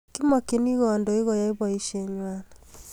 kimakchini kandoik koyai boishe ngwai